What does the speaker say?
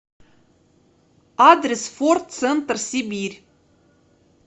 адрес форд центр сибирь